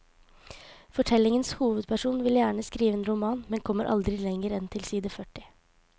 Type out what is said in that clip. Fortellingens hovedperson vil gjerne skrive en roman, men kommer aldri lenger enn til side førti.